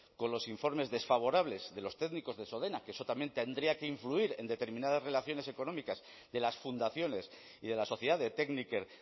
con los informes desfavorables de los técnicos de sodena que eso también tendría que influir en determinadas relaciones económicas de las fundaciones y de la sociedad de tekniker